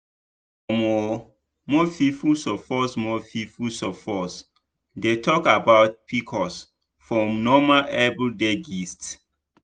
omo more people suppose more people suppose dey talk about pcos for normal everyday gist.